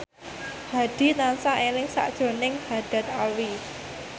Hadi tansah eling sakjroning Haddad Alwi